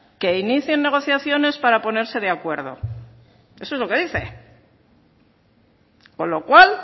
que inicien negociaciones para ponerse de acuerdo eso es lo que dice con lo cual